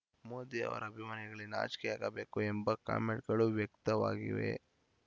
ಮೋದಿ ಅವರ ಅಭಿಮಾನಿಗಳಿಗೆ ನಾಚಿಕೆಯಾಗಬೇಕು ಎಂಬ ಕಮೆಂಟ್‌ಗಳು ವ್ಯಕ್ತವಾಗಿವೆ